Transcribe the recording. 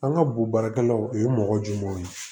An ka bo baarakɛlaw o ye mɔgɔ jumɛnw ye